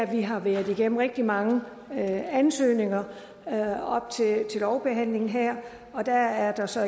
vi har været igennem rigtig mange ansøgninger op til lovbehandlingen her og der er så